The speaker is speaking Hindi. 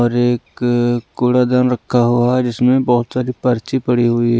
और एक कुड़ादन रखा हुआ है जिसमें बहुत सारी पर्ची पड़ी हुई हैं।